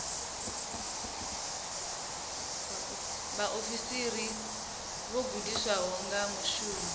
vhaofisiri vho gudisiwaho ya shumiswa